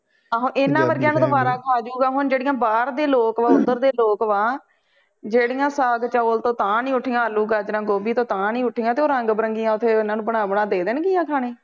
ਆਹੋ ਇਹਨਾਂ ਵਰਗੀਆਂ ਨੂੰ ਤਾਂ ਵਾਰਾਂ ਖਾ ਜੂਗਾ ਹੁਣ ਜਿਹੜੀ ਆ ਬਾਹਰ ਦੇ ਲੋਗ ਉਦਰ ਦੇ ਲੋਕ ਵਾ ਜਿਹੜੀਆ ਸਾਗ ਚੋਲ ਤੋਂ ਤਾਹਿ ਨਹੀਂ ਉਠਿਆ ਆਲੂ ਗਾਜਰਾਂ ਗੋਬੀ ਤੋਂ ਤਾਹਿ ਨਹੀਂ ਉਠਿਆ ਤੇ ਉਹ ਰੰਗ ਬਰੰਗਿਆ ਓਥੇ ਓਹਨਾ ਨੂੰ ਬਣਾ ਬਣਾ ਕੇ ਦੇ ਦੇਣ ਗਿਆ ਖਾਣੇ